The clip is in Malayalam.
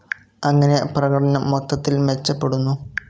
അങ്ങനെ പ്രകടനം മൊത്തത്തിൽ മെച്ചപ്പെടുന്നു.